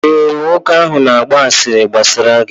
ee, nwoke ahụ na-agba asịrị gbasara gị